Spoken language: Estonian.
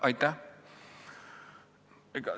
Aitäh!